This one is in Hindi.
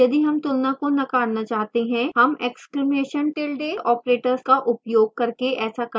यदि हम तुलना का नकारना चाहता हैं हम exclamation tilde operator का उपयोग करके ऐसा कर सकते हैं